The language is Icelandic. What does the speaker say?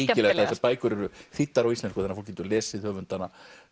þessar bækur eru þýddar á íslensku þannig að fólk getur lesið höfundana